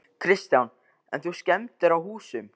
Kristján: En skemmdir á húsum?